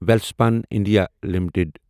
Welspun India limited